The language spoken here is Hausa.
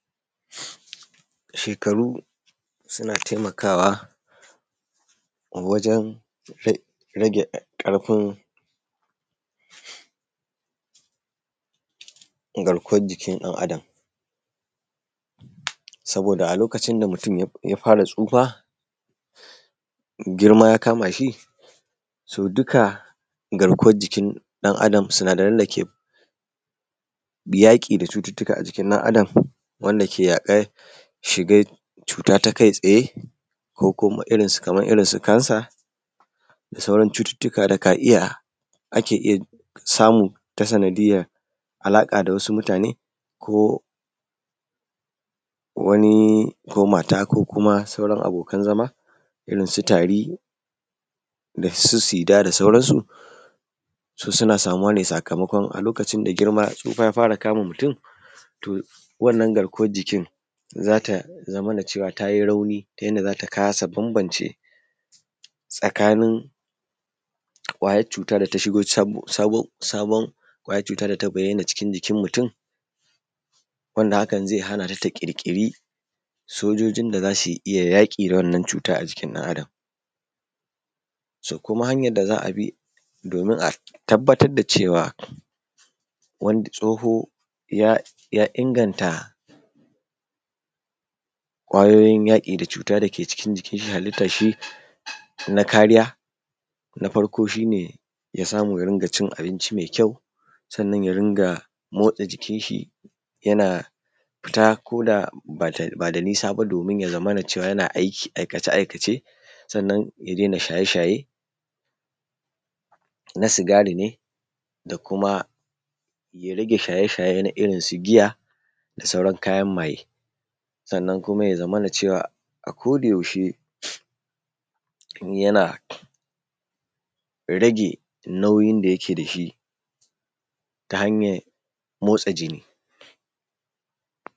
Shekaru suna taimakawa wajen rage ƙarfin garkuwan jikin ɗan Adam saboda a lokacin da mutum ya fara tsufa, girma ya kama shi, to duka garkuwan jikin ɗan Adam, sinadaran dake yaƙi da cututtuka a jikin ɗan Adam wanda ke yaƙan shigan cuta ta kai tsaye ko kuma kaman irinsu kansa da sauran cututtuka da ka iya ake iya samu ta sanadiyar alaƙa da wasu mutane, ko wani ko mata ko kuma sauran abokan zama irinsu tari da su sida da sauransu. Su suna samuwa ne sakamakon a lokacin da girma, tsufa ya fara kama mutum, to wannan garkuwan jikin za ta zamana cewa ta yi rauni ta yadda za ta kasa bambance tsakanin ƙwayan cutan da shigo sabon ƙwayan cutan da tabayyana cikin jikin mutum wanda hakan zai hana ta ta ƙirƙiri sojojin da za su iya yaƙi da wannan cuta a jikin ɗan Adam. Su kuma hanyan da za a bi domin a tabbatar da cewa tsoho ya inganta ƙwayoyin yaƙi da cuta da ke cikin jikin halittan shi na kariya, na farko shi ne ya samu ya rinƙa cin abinci mai kyau sannan ya rinƙa motsa jikin shi, yana fita koda ba da nisa ba, domin ya zamana cewa yana aiki, aikace aikace sannan ya daina shaye shaye na sigari ne, da kuma ya rage shaye shaye na irinsu giya da kuma sauran kayan maye. Sannan kuma ya zamana cewa a koda yaushe yana rage nauyin da yake da shi ta hanyar motsa jini.